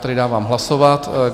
Tedy dávám hlasovat.